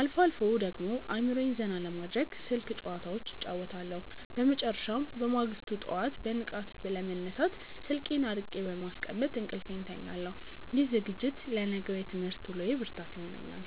አልፎ አልፎ ደግሞ አእምሮዬን ዘና ለማድረግ ስልክ ጭዋታዎች እጫወታለሁ። በመጨረሻም፣ በማግስቱ ጠዋት በንቃት ለመነሳት ስልኬን አርቄ በማስቀመጥ እንቅልፌን እተኛለሁ። ይህ ዝግጅት ለነገው የትምህርት ውሎዬ ብርታት ይሆነኛል።